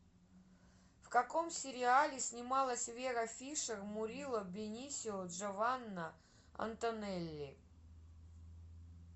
в каком сериале снималась вера фишер мурило бенисио джованна антонелли